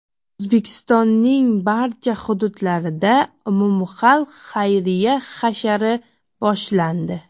O‘zbekistonning barcha hududlarida umumxalq xayriya hashari boshlandi.